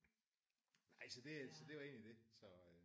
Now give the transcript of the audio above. Nej så det så det var egentlig det